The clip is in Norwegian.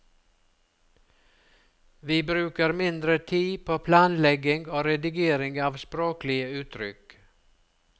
Vi bruker mindre tid på planlegging og redigering av språklige uttrykk.